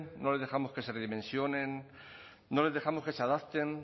no les dejamos que se redimensionen no les dejamos que se adapten